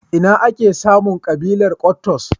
Ina ake samun ƙabilar Kwattos?